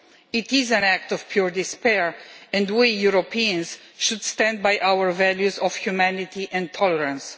It is an act of pure despair and we Europeans should stand by our values of humanity and tolerance.